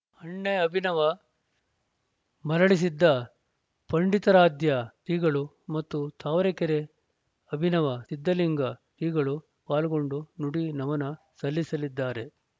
ಹಣ್ಣೆ ಅಭಿನವ ಮರುಳಸಿದ್ಧ ಪಂಡಿತಾರಾಧ್ಯ ಶ್ರೀಗಳು ಮತ್ತು ತಾವರೆಕೆರೆ ಅಭಿನವ ಸಿದ್ಧಲಿಂಗ ಶ್ರೀಗಳು ಪಾಲ್ಗೊಂಡು ನುಡಿ ನಮನ ಸಲ್ಲಿಸಲಿದ್ದಾರೆ